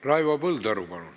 Raivo Põldaru, palun!